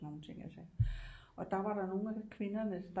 Og sådan nogle ting og der var der nogle af kvinderne